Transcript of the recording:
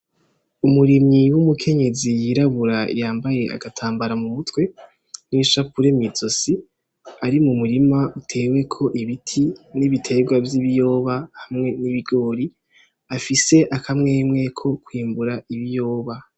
Umurimyi w'umukenyezi yirabura yambaye agatambara mu mutwe n'ishakure mwizosi ari mu murima utewe ko ibiti n'ibiterwa vy'ibiyoba hamwe n'ibigori afise akamwemwe ko kwimbura ibiyoba.